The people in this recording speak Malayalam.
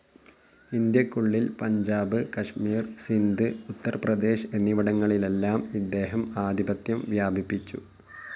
ഇന്ത്യക്കുള്ളിൽ പഞ്ചാബ്, കാശ്മീർ, സിന്ധ്, ഉത്തർ പ്രദേശ് എന്നിവിടങ്ങളിലെല്ലാം ഇദ്ദേഹം ആധിപത്യം വ്യാപിപ്പിച്ചു.